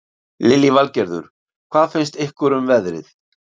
Lillý Valgerður: Hvað finnst ykkur um veðrið?